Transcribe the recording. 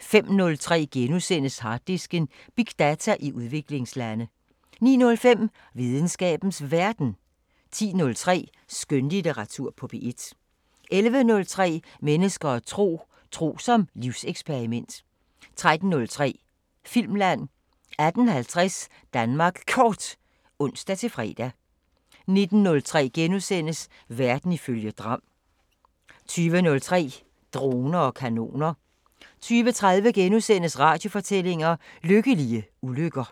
05:03: Harddisken: Big data i udviklingslande * 09:05: Videnskabens Verden 10:03: Skønlitteratur på P1 11:03: Mennesker og tro: Tro som livseksperiment 13:03: Filmland 18:50: Danmark Kort (ons-fre) 19:03: Verden ifølge Gram * 20:03: Droner og kanoner 20:30: Radiofortællinger: Lykkelige ulykker